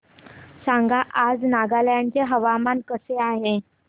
सांगा आज नागालँड चे हवामान कसे आहे